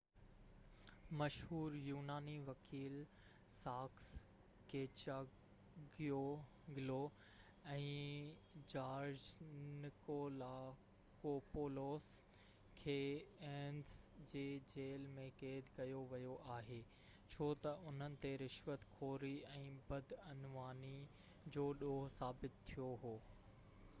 مشهور يوناني وڪيل ساڪس ڪيچاگيوگلو ۽ جارج نڪولاڪوپولوس کي ايٿنز جي جيل ۾ قيد ڪيو ويو آهي ڇو تہ انهن تي رشوت خوري ۽ بدعنواني جو ڏوه ثابت ٿيو هو